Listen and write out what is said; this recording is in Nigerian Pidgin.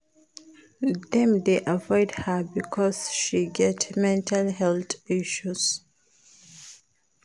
Dem dey avoid her because she get mental health issues.